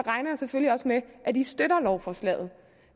selvfølgelig med at de også støtter lovforslaget